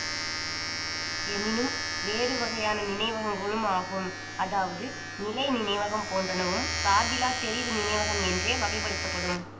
எனினும் வேறு வகையான நினைவகங்களும் ஆகும் அதாவது நிலை நினைவகம் போன்றனவும் சார்பிலாத் தெரிவு நினைவகம் என்றே வகைப்படுத்தப்படும்